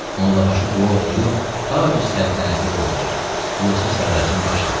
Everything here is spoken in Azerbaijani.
Mollabaşı dua oxuyub taci səltənəti qoydu Yusif Sərracın başına.